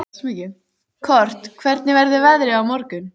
Kort, hvernig verður veðrið á morgun?